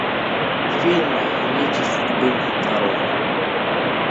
фильм нити судьбы нарой